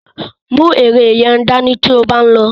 Mú ère yẹn dání tí ó bá ń lọ.